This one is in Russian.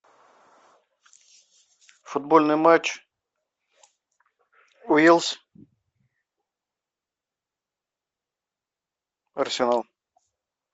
футбольный матч уилс арсенал